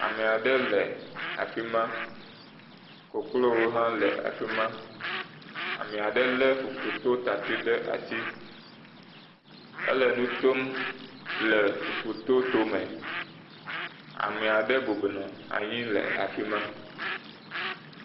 Ame aɖe le afi ma. Koklowo hã le afi ma. Ame aɖe le fufutotati ɖe asi ele nu tom le fufuto to me. Ame aɖe bɔbɔnɔ anyi le afi ma.